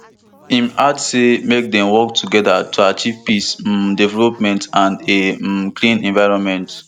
im add say make dem work togeda to achieve peace um development and a um clean environment